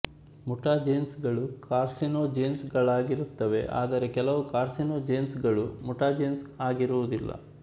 mutagens ಗಳು carcinogens ಗಳಾಗಿರುತ್ತವೆ ಆದರೆ ಕೆಲವು ಕಾರ್ಸಿನೊಜೆನ್ಸ್ ಗಳು ಮುಟಾಜೆನ್ಸ್ ಆಗಿರುವದಿಲ್ಲ